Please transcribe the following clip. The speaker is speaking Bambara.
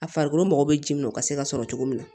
A farikolo mago bɛ ji min na o ka se ka sɔrɔ cogo min na